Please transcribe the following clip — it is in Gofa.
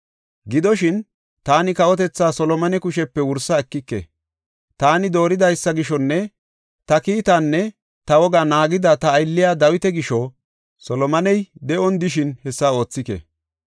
“ ‘Gidoshin, taani kawotethaa Solomone kushepe wursa ekike. Taani dooridaysa gishonne ta kiitaanne ta wogaa naagida ta aylliya Dawita gisho Solomoney de7on de7ishin hessa oothike.